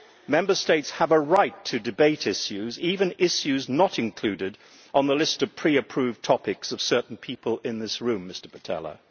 Member States have a right to debate issues, even issues not included on the list of pre approved topics of certain people in this room, Mr Pittella.